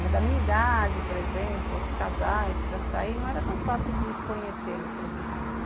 Mas da minha idade, por exemplo, outros casais, para sair não era tão fácil de conhecê-los, pelo menos.